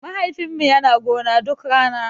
Mahaifin mu yana gona duk rana.